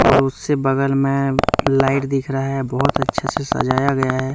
और उसके बगल में लाइट दिख रहा है बहुत अच्छा से सजाया गया है।